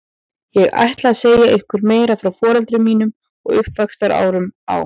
Ég ætla að segja ykkur meira frá foreldrum mínum og uppvaxtarárunum á